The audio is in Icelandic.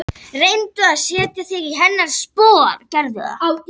Reyndi að setja sig í hennar spor.